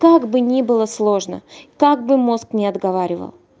как бы ни было сложно как бы мозг не отговаривал